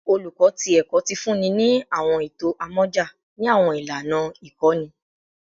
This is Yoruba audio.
Oluko ti Ẹkọ ti funni ni awọn eto amọja ni awọn ilana ikọni